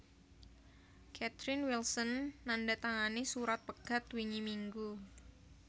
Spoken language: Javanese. Catherine Wilson nandatangani surat pegat wingi minggu